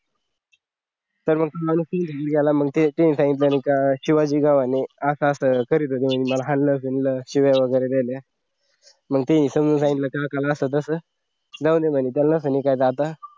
तर मग त्याला ते ते सांगितलं तर मग काय शिवाजी रावने मला असं असं हानल शिव्या वगैरे दिल्या मग त्यांनी समजावून सांगितलं तेव्हा असं तस जाऊदे म्हणे चालना म्हणे काय दादा